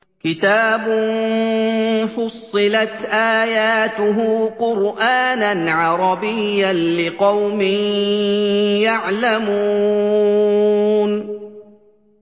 كِتَابٌ فُصِّلَتْ آيَاتُهُ قُرْآنًا عَرَبِيًّا لِّقَوْمٍ يَعْلَمُونَ